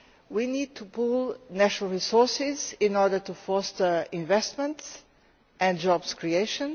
We need to pool national resources in order to foster investment and job creation